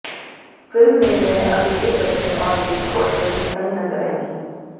film में वह अभिषेक बच्च्न और विकी कौशल के संग नजर आएंगी